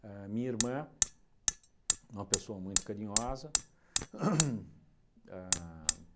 A minha irmã, uma pessoa muito carinhosa. Ham ham a